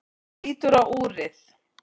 Hún lítur á úrið.